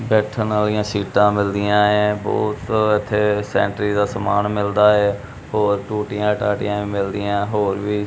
ਬੈਠਣ ਆਲਿਆਂ ਸੀਟਾਂ ਮਿਲਦੀਆਂ ਐ ਬਹੁਤ ਇੱਥੇ ਸੇਨੇਟਰੀ ਦਾ ਸਮਾਨ ਮਿਲਦਾ ਐ ਹੋਰ ਟੂਟੀਆਂ ਟਾਟਿਆਂ ਵੀ ਮਿਲਦੀਆਂ ਹੋਰ ਵੀ --